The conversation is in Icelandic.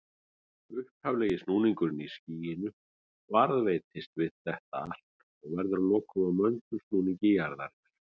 Upphaflegi snúningurinn í skýinu varðveitist við þetta allt og verður að lokum að möndulsnúningi jarðarinnar.